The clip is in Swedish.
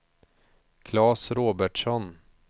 Klas Robertsson